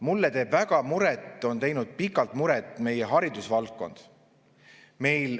Mulle teeb väga muret, on teinud pikalt muret haridusvaldkond.